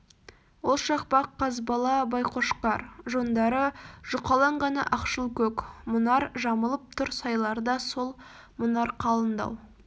ол шақпақ қазбала байқошкар жондары жұқалаң ғана ақшыл көк мұнар жамылып тұр сайларда сол мұнар қалындау